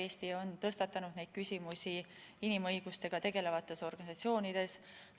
Eesti on tõstatanud neid küsimusi inimõigustega tegelevates organisatsioonides.